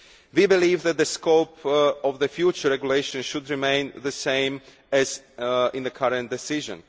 We believe that the scope of the future regulation should remain the same as in the current decision.